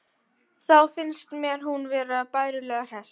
Þá fannst mér hún vera bærilega hress.